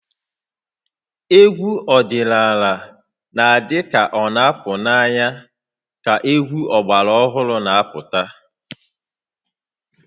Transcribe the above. Egwu ọdịnala na-adị ka ọ na-apụ n'anya ka egwu ọgbara ọhụrụ na-apụta